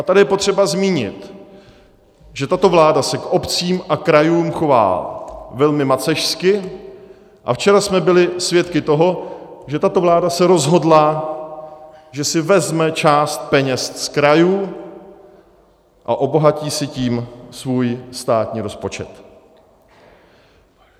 A tady je potřeba zmínit, že tato vláda se k obcím a krajům chová velmi macešsky, a včera jsme byli svědky toho, že tato vláda se rozhodla, že si vezme část peněz z krajů a obohatí si tím svůj státní rozpočet.